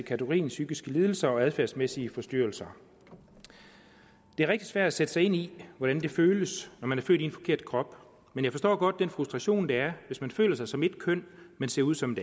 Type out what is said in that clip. kategorien psykiske lidelser og adfærdsmæssige forstyrrelser det er rigtig svært at sætte sig ind i hvordan det føles når man er født i en forkert krop men jeg forstår godt den frustration der er hvis man føler sig som et køn men ser ud som